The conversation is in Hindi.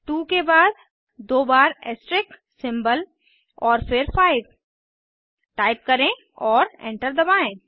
2 के बाद दो बार ऐस्ट्रिस्क सिंबल और फिर 5 टाइप करें और एंटर दबाएं